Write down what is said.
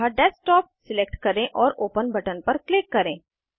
अतः desktop select करें और ओपन बटन पर क्लिक करें